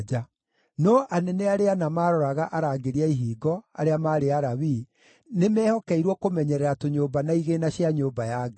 No anene arĩa ana maaroraga arangĩri a ihingo, arĩa maarĩ Alawii, nĩmehokeirwo kũmenyerera tũnyũmba na igĩĩna cia nyũmba ya Ngai.